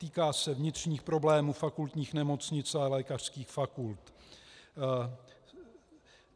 Týká se vnitřních problémů fakultních nemocnic a lékařských fakult.